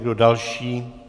Kdo další?